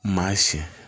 Maa si